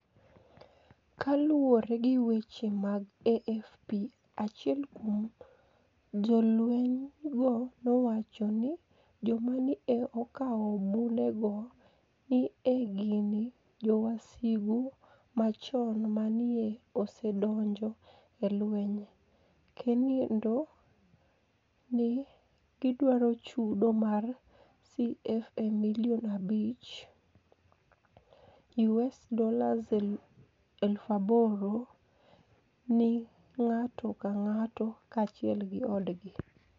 Ka luwore gi weche mag AFP, achiel kuom jolweniygo nowacho nii joma ni e okawo bunidego ni e gini "jowasigu machoni ma ni e osedonijo e lweniy, kenido ni e gidwaro chudo mar CFA milioni abich (US$8,000) nig'ato ka nig'ato kaachiel gi odgi".